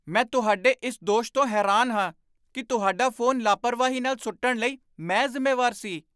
ਮੈਂ ਤੁਹਾਡੇ ਇਸ ਦੋਸ਼ ਤੋਂ ਹੈਰਾਨ ਹਾਂ ਕਿ ਤੁਹਾਡਾ ਫੋਨ ਲਾਪਰਵਾਹੀ ਨਾਲ ਸੁੱਟਣ ਲਈ ਮੈਂ ਜ਼ਿੰਮੇਵਾਰ ਸੀ।